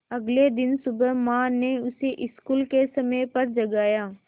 अगले दिन सुबह माँ ने उसे स्कूल के समय पर जगाया